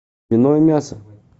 вино и мясо